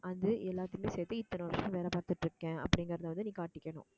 அது எல்லாத்தையுமே சேர்த்து இத்தனை வருஷம் வேலை பார்த்துட்டிருக்கேன் அப்படிங்கிறதை வந்து நீ காட்டிக்கணும்